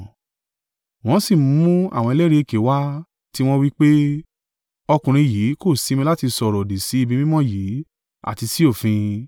Wọ́n sí mú àwọn ẹlẹ́rìí èké wá, tiwọn wí pé, “Ọkùnrin yìí kò sinmi láti sọ ọ̀rọ̀-òdì sí ibi mímọ́ yìí, àti sí òfin.